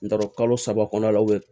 N t'a dɔn kalo saba kɔnɔna la